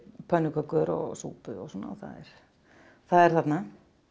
pönnukökur og súpu og svona og það er þarna